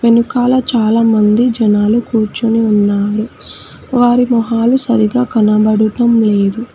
వెనుకాల చాలామంది జనాలు కూర్చుని ఉన్నారు వారి మొహాలు సరిగా కనబడుటం లేదు.